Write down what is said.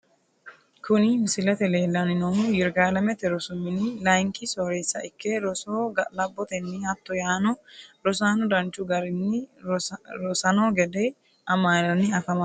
Kuni misilete leelani noonkehu yirgalamete rosu mini layinki sooresa ikke rosoho ga`laboteni hatto yaano rosaano danchu garini rosano gede amaalani afamanoho yaate.